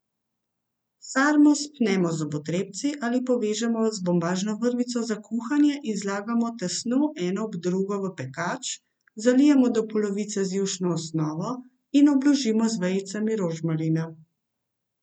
Sarmo spnemo z zobotrebci ali povežemo z bombažno vrvico za kuhanje in zlagamo tesno eno ob drugo v pekač, zalijemo do polovice z jušno osnovo in obložimo z vejicami rožmarina.